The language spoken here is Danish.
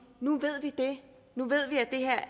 nu ved vi det nu ved vi